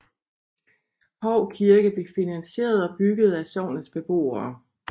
Hou Kirke blev finanseret og bygget af sognets beboere